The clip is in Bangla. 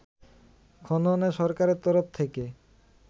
খননে সরকারের তরফ থেকে